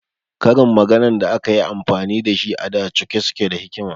Karin maganan da akayi amfani dashi a da cike suke da hikima